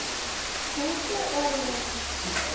Hendur og lim.